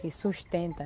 Que sustenta.